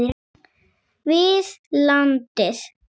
við landið.